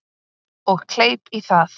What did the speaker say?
Og kleip í það.